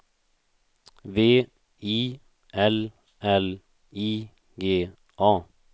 V I L L I G A